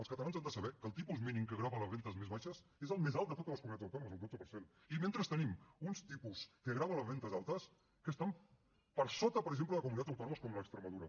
els catalans han de saber que el tipus mínim que grava les rendes més baixes és el més alt de totes les comunitats autònomes el dotze per cent i mentrestant tenim uns tipus que graven les rendes altes que estan per sota per exemple de comunitats autònomes com la d’extremadura